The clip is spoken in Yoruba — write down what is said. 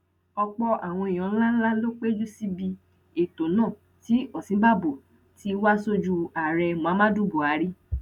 ọpọ àwọn èèyàn ńlá ńlá ló péjú síbi ètò náà tí òsínbàbò tí wàá sojú ààrẹ muhammadu buhari